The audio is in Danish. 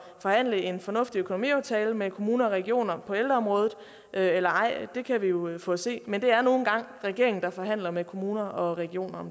forhandle en fornuftig økonomiaftale med kommuner og regioner på ældreområdet eller ej det kan vi jo få at se men det er nu engang regeringen der forhandler med kommuner og regioner